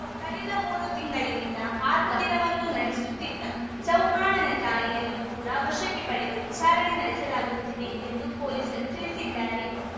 ಕಳೆದ ಮೂರು ತಿಂಗಳಿನಿಂದ ಆತ ಮಂದಿರವನ್ನು ನಡೆಸುತ್ತಿದ್ದ ಚೌಹಾಣ್‌ನ ತಾಯಿಯನ್ನು ಕೂಡ ವಶಕ್ಕೆ ಪಡೆದು ವಿಚಾರಣೆ ನಡೆಸಲಾಗುತ್ತಿದೆ ಎಂದು ಪೊಲೀಸರು ತಿಳಿಸಿದ್ದಾರೆ